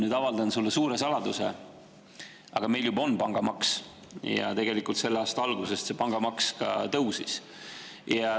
Ma avaldan sulle suure saladuse: meil juba on pangamaks ja selle aasta algusest see pangamaks ka tõusis.